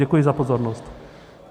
Děkuji za pozornost.